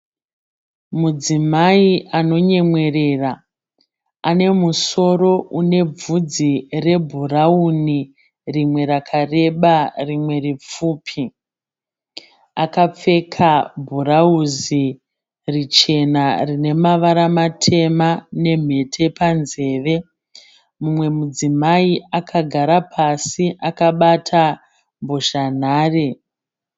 Mudzimai anonyemwerera anemusoro unebvudzi rebhurauni rimwe rakareba rimwe ripfupi. Akapfeka bhurauzi richena rinemavara matema nemhete panzeve. Mumwe mudzimai akagara pasi akabata mbozhanhare.